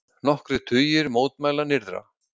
Nokkrir tugir mótmæla nyrðra